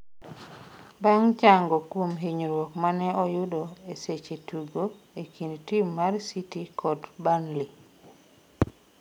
bang' chango kuom hinyruok mane oyudo e seche tugo e kind tim mar City kod Burnley